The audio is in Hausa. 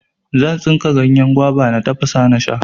Zan tsinka ganyen gwaba, na tafasa nasha.